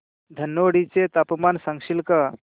धनोडी चे तापमान सांगशील का